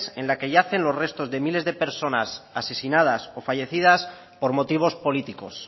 en la que yacen los restos de miles de personas asesinadas o fallecidas por motivos políticos